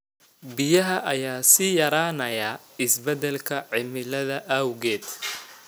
Biyaha ayaa sii yaraanaya isbeddelka cimilada awgeed.